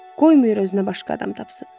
Qoy Mührer özünə başqa adam tapsın.